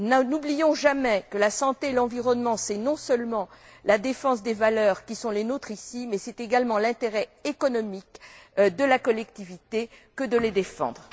N'oublions jamais que la santé et l'environnement, c'est non seulement la défense des valeurs qui sont les nôtres, mais c'est également l'intérêt économique de la collectivité que de les défendre.